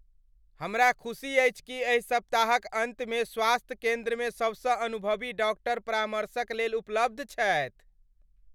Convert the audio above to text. हमरा खुशी अछि कि एहि सप्ताहक अन्तमे स्वास्थ्य केन्द्रमे सबसँ अनुभवी डॉक्टर परामर्शक लेल उपलब्ध छथि ।